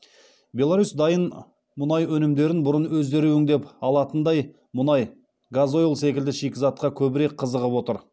беларусь дайын мұнай өнімдерінен бұрын өздері өңдеп алатындай мұнай газойль секілді шикізатқа көбірек қызығып отыр